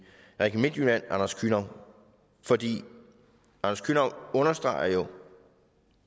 region midtjylland anders kühnau fordi anders kühnau jo understreger